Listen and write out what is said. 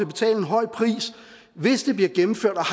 betale en høj pris hvis det bliver gennemført og